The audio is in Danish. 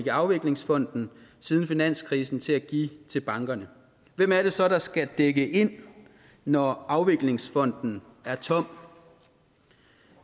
i afviklingsfonden siden finanskrisen til at give til bankerne hvem er det så der skal dække det ind når afviklingsfonden er tom